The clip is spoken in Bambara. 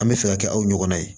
An bɛ fɛ ka kɛ aw ɲɔgɔnna ye